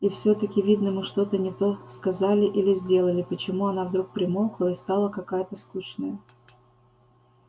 и всё-таки видно мы что-то не то сказали или сделали почему она вдруг примолкла и стала какая-то скучная